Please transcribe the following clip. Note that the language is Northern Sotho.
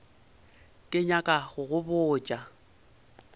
ke nyaka go go botša